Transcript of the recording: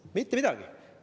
Mitte midagi!